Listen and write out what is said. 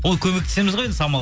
ол көмектесеміз ғой енді самал